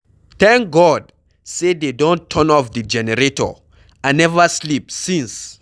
Thank God say dey don turn off the generator, I never sleep since.